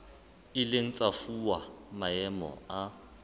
ileng tsa fuwa maemo a